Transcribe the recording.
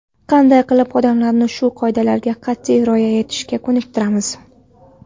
Qanday qilib odamlarni shu qoidalarga qat’iy rioya etishga ko‘niktiramiz?